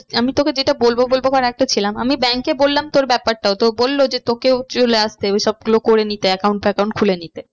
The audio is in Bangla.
আমি তোকে যেটা বলবো বলবো আমি bank এ বললাম তোর ব্যাপারটাও তো বললো যে তোকেও চলে আসতে ওইসব গুলো করে নিতে account ফ্যাকাউন্স খুলে নিতে